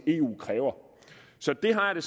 eu kræver så det har jeg det